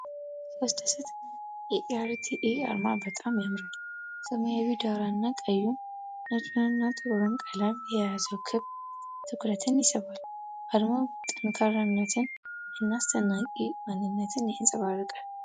ሲያስደስት! የኢ.አር.ቲ.ኤ. አርማ በጣም ያምራል። ሰማያዊው ዳራ እና ቀዩን፣ ነጩንና ጥቁሩን ቀለም የያዘው ክብ ትኩረትን ይስባል። አርማው ጠንካራነትን እና አስደናቂ ማንነትን ያንፀባርቃል።